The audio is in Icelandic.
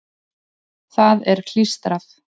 Það er klístrað.